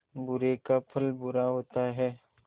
बुरे का फल बुरा होता है